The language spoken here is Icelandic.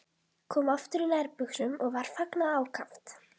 Kom aftur í nærbuxum og var fagnað ákaft.